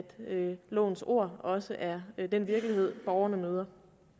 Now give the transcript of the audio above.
lovens ord også er den virkelighed borgerne møder